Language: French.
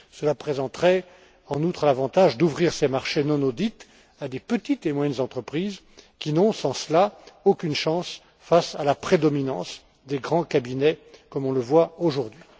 Cela présenterait, en outre, l'avantage d'ouvrir ces marchés non audit à des petites et moyennes entreprises qui n'ont, sans cela, aucune chance face à la prédominance des grands cabinets, comme on le voit aujourd'hui.